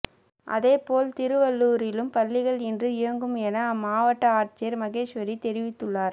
அதேபோல் திருவள்ளூரிலும் பள்ளிகள் இன்று இயங்கும் என அம்மாவட்ட ஆட்சியர் மகேஸ்வரி தெரிவித்துள்ளார்